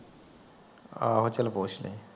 ਆਹੋ ਚੱਲ ਪੁੱਛ ਲੀ